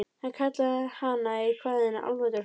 Hann kallaði hana í kvæðinu álfadrottningu.